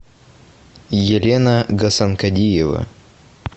елена гасанкадиева